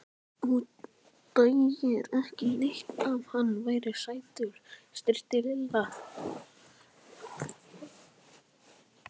Þú dæir ekki neitt ef hann væri sætur. stríddi Lilla.